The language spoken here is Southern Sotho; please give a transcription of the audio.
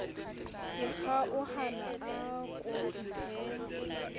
ke kgaohana a ko iphe